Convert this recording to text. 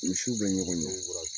Misiw bɛ ɲɔgɔn dɔn.